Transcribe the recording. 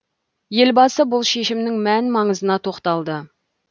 елбасы бұл шешімнің мән маңызына тоқталды